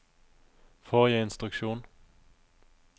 forrige instruksjon